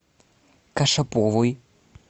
кашаповой